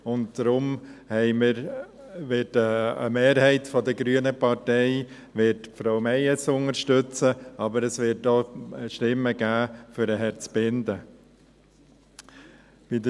Deshalb wird eine Mehrheit der grünen Partei Frau Meyes unterstützen, aber es wird auch für Herrn Zbinden Stimmen geben.